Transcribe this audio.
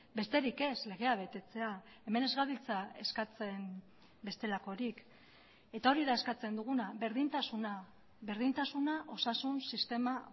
besterik ez legea betetzea hemen ez gabiltza eskatzen bestelakorik eta hori da eskatzen duguna berdintasuna berdintasuna osasun sistema